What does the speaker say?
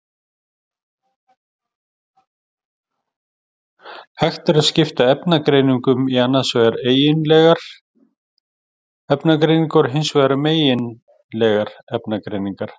Hægt er að skipta efnagreiningum í annars vegar eigindlegar efnagreiningar og hins vegar megindlegar efnagreiningar.